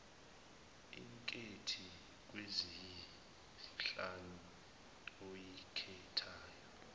inkethi kweziyisihlanu oyikhethayo